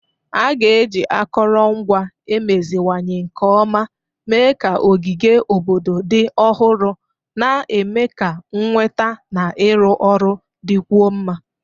A ga-eji akụrụngwa emeziwanye nke ọma mee ka ogige obodo dị ọhụrụ, na-eme ka nnweta na ịrụ ọrụ dịkwuo mma.